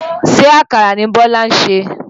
Ṣé àkàrà ni Bọ́lá ń sè?